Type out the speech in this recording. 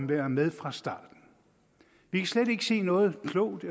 være med fra starten vi kan slet ikke se noget klogt